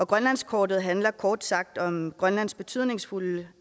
grønlandskortet handler kort sagt om grønlands betydningsfulde